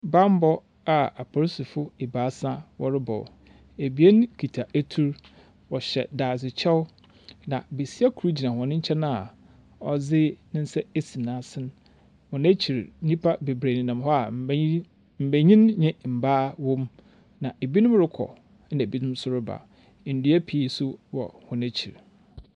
Bambɔ a aporisifo ebiasa wɔrobɔ, ebien kitsa etur, wɔhyɛ daadzekyɛw, na basia kor gyina hɔn nkyɛn a ɔdze ne nsa esi n’asen. Hɔn ekyir, nyimpa beberee nenam hɔ mba mbanyin ne mbaa wɔ mu, na binom rokɔ na binom so reba. Ndua pi so wɔ hɔn ekyir.